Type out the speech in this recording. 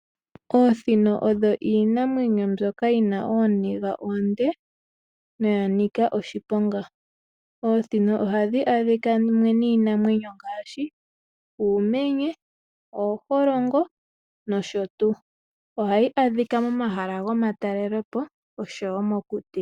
Oosino odho iinamwenyo mbyoka yi na ooniga oonde noya nika oshiponga. Oosino ohadhi adhika mumwe niinamwenyo ngaashi: uumenye, ooholongo nosho tuu. Ohadhi adhika momahala gomatalelepo nosho wo mokuti.